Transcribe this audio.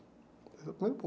Esse é o primeiro